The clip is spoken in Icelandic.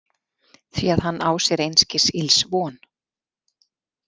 Því að hann á sér einskis ills von.